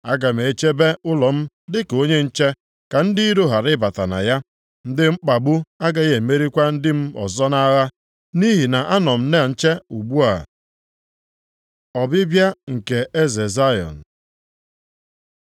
Aga m echebe ụlọ m dịka onye nche, ka ndị iro ghara ịbata na ya. Ndị mkpagbu agaghị emerikwa ndị m ọzọ nʼagha, nʼihi na anọ m na nche ugbu a. Ọbịbịa nke eze Zayọn